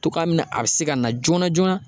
Togoya min na a be se ka na joona joona.